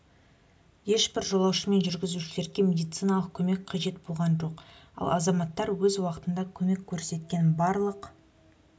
ешбір жолаушы мен жүргізушілерге медициналық көмек қажет болған жоқ ал азаматтар өз уақытында көмек көрсеткен барлық